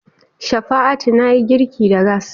Shafa'atu na yi girki da gas.